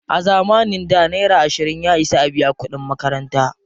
A zamanin da, naira ashirin ya isa a biya kuɗin makaranta.